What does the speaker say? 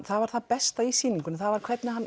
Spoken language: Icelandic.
það var það besta í sýningunni hvernig